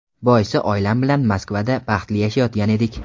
Boisi oilam bilan Moskvada baxtli yashayotgan edik.